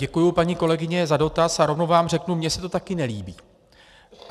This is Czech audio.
Děkuji, paní kolegyně, za dotaz a rovnou vám řeknu - mně se to taky nelíbí.